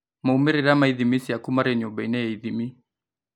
Maumĩrĩra ma ithimi ciaku marĩ nyumba-inĩ ya ithimi